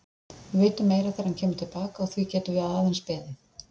Við vitum meira þegar hann kemur til baka og því getum við aðeins beðið.